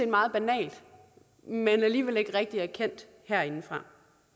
meget banalt men alligevel ikke rigtig erkendt herindefra